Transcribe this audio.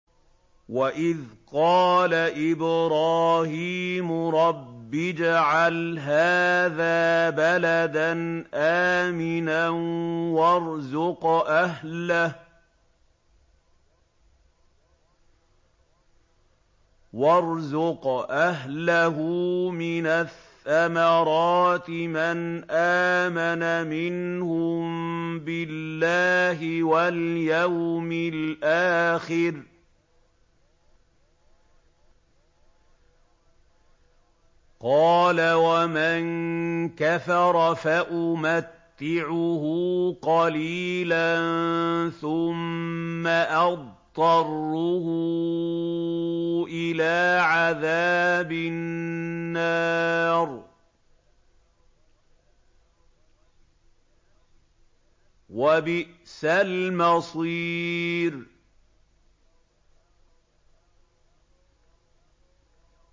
وَإِذْ قَالَ إِبْرَاهِيمُ رَبِّ اجْعَلْ هَٰذَا بَلَدًا آمِنًا وَارْزُقْ أَهْلَهُ مِنَ الثَّمَرَاتِ مَنْ آمَنَ مِنْهُم بِاللَّهِ وَالْيَوْمِ الْآخِرِ ۖ قَالَ وَمَن كَفَرَ فَأُمَتِّعُهُ قَلِيلًا ثُمَّ أَضْطَرُّهُ إِلَىٰ عَذَابِ النَّارِ ۖ وَبِئْسَ الْمَصِيرُ